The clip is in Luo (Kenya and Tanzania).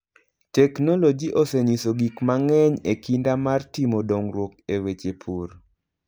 Teknoloji osenyiso gik mang'eny e kinda mar timo dongruok e weche pur.